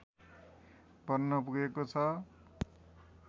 बन्न पुगेको छ